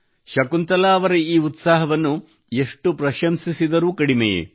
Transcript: ಶಕುಂತಲಾ ಅವರ ಈ ಉತ್ಸಾಹವನ್ನು ಎಷ್ಟು ಪ್ರಶಂಸಿಸಿದರೂ ಕಡಿಮೆಯೇ